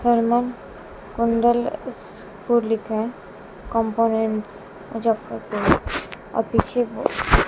thermal कुंडल school लिक्खा है कंपोनेंट्स मुजफ्फरपुर और पीछे वो --